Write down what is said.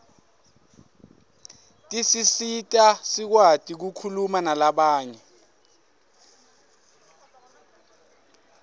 tisisita sikwati kukhuma nalabanye